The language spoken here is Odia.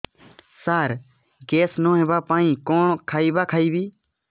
ସାର ଗ୍ୟାସ ନ ହେବା ପାଇଁ କଣ ଖାଇବା ଖାଇବି